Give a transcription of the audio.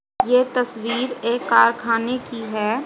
ये तस्वीर एक कारखाने की है।